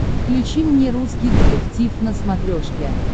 включи мне русский детектив на смотрешке